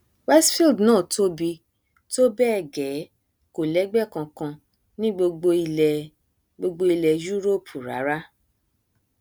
westfield náà tóbi tó bẹẹ gẹ kò lẹgbẹ kankan ní gbogbo ilẹ gbogbo ilẹ yúroòpù rárá